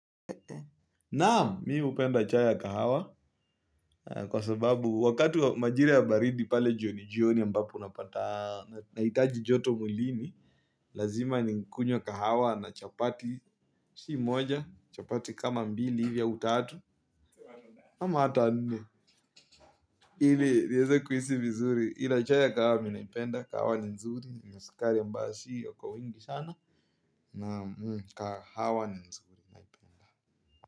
Naam mii upenda chai ya kahawa kwa sababu wakati majira ya baridi pale jioni jioni ambapo unapata nahitaji joto mulini. Lazima nikunywe kahawa na chapati si moja chapati kama mbili hivi au tatu ama hata nne ili nieze kuhisi vizuri ila chai ya kahawa mi naipenda kahawa ni nzuri na sukari ambayo sio kwa wingi sana naam kahawa.